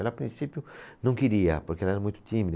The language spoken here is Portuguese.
Ela, a princípio, não queria, porque ela era muito tímida.